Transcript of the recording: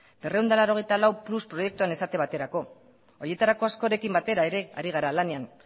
berrehun eta laurogeita lau plus proiektuan esate baterako horietarako askorekin batera ere ari gara lanean